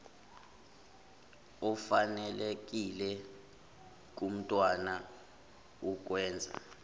efanelekile kumntwana ukukwenza